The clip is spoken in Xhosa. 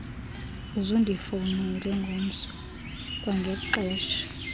uzundifowunele ngomso kwangelixesha